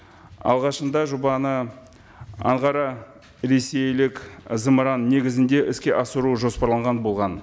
алғашында жобаны анғара ресейлік зымыраны негізінде іске асыру жоспарланған болған